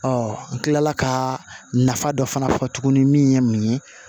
n kilala ka nafa dɔ fana fɔ tuguni min ye mun ye